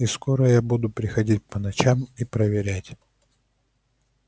и скоро я буду приходить по ночам и проверять